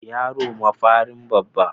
Yaro mafarin babba.